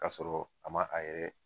Ka sɔrɔ a ma a yɛrɛ